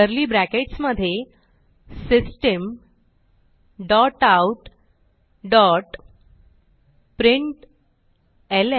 curly brackets मधे system dot out dot println